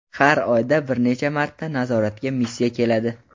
Xar oyda bir necha marta nazoratga missiya keladi.